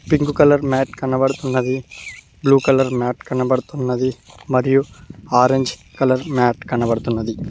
Pink colour mat కనపడుతున్నది blue colour mat కనబడుతున్నది మరియు ఆరెంజ్ కలర్ మ్యాట్ కనబడుతున్నది.